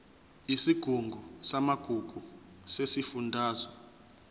yesigungu samagugu sesifundazwe